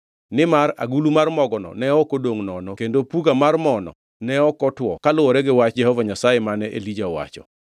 Nimar agulu mar mogono ne ok odongʼ nono kendo puga mar mo-no ne ok otwo kaluwore gi wach Jehova Nyasaye mane Elija owacho.